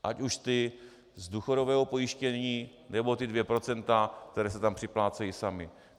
Ať už ty z důchodového pojištění, nebo ta dvě procenta, která si tam připlácejí sami.